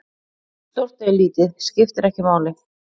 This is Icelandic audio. Stórt eða lítið, skiptir ekki máli.